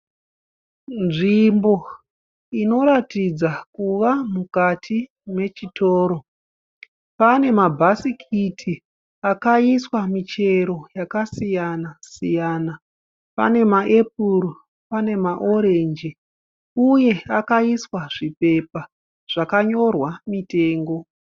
Nzvimbo inoratidza kuva mukati mechitoro. Pane mabhasikiti akaiswa michero yakasiyana siyana. Pane maepuro pane marangisi uye pakaiswa zvipepa zvakayorwa mitengo.